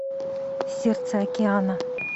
сердце океана